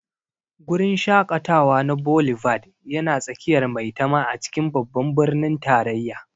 Guri shaƙatawa na Boulevard yana tsakiyar Maitama a cikin Babban Birnin Tarayya.